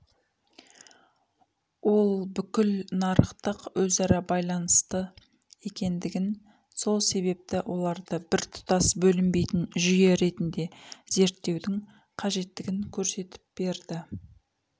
ол бүкіл нарықтық өзара байланысты екендігін сол себепті оларды біртұтас бөлінбейтін жүйе ретінде зертеудің қажеттігін көрсетіп берді